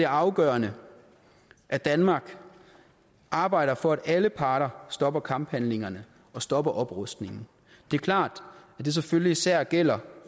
afgørende at danmark arbejder for at alle parter stopper kamphandlingerne og stopper oprustningen det er klart at det selvfølgelig især gælder